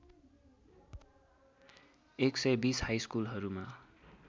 १२० high स्कुलहरूमा